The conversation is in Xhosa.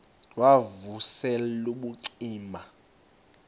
wav usel ubucima